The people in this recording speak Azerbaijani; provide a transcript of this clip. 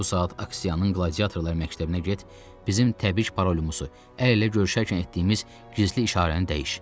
Bu saat Aksiyanın qladiatorlar məktəbinə get, bizim təbii parolumuz, əl ilə görüşərkən etdiyimiz gizli işarəni dəyiş.